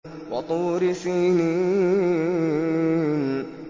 وَطُورِ سِينِينَ